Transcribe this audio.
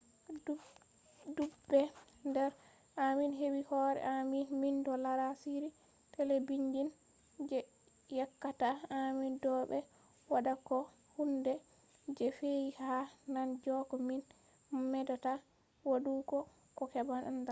dudbe nder amin hebi hore amin mindo lara shiri telebijin je yeccata amin do be watta ko hunde je fe'i ha nane jeko min medata wadugo ko heba andal